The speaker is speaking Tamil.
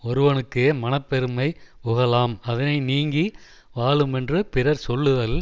ஒருவனுக்கு மனப்பெருமை புகழாம் அதனை நீங்கி வாழுமென்று பிறர் சொல்லுதல்